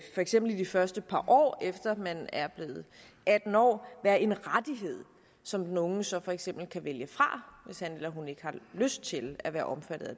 eksempel i de første par år efter at man er blevet atten år være en rettighed som den unge så for eksempel kan vælge fra hvis han eller hun ikke har lyst til at være omfattet